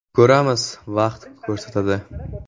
Ko‘ramiz, vaqt ko‘rsatadi.